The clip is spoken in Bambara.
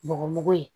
Bɔgɔmugu ye